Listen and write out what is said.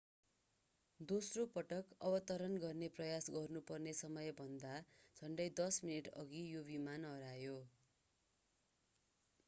दोस्रो पटक अवतरण गर्ने प्रयास गर्नुपर्ने समयभन्दा झन्डै दश मिनेटअघि यो विमान हरायो